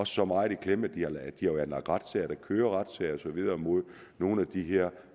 så meget i klemme at de har anlagt retssager der kører retssager og så videre mod nogle af de her